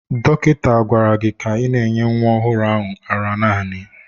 Dọkịta gwara gị ka ị na-enye nwa ọhụrụ a ara naanị!